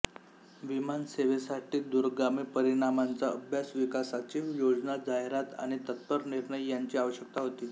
विमान सेवेसाठी दूरगामी परिणामांचा अभ्यास विकासाची योजना जाहिरात आणि तत्पर निर्णय यांची आवश्यकता होती